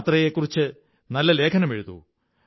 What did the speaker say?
യാത്രയെക്കുറിച്ച് നല്ല ലേഖനമെഴുതൂ